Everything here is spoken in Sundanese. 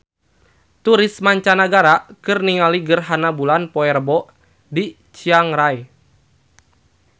Turis mancanagara keur ningali gerhana bulan poe Rebo di Chiang Rai